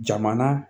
Jamana